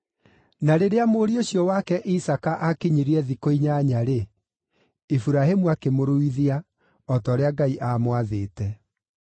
Na rĩrĩa mũriũ ũcio wake Isaaka akinyirie thikũ inyanya-rĩ, Iburahĩmu akĩmũruithia, o ta ũrĩa Ngai aamwathĩte.